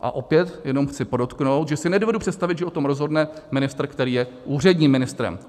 A opět, jenom chci podotknout, že si nedovedu představit, že o tom rozhodne ministr, který je úředním ministrem.